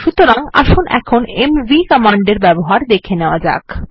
সুতরাং আসুন কিভাবে এমভি কমান্ডের ব্যবহার দেখে নেওয়া যাক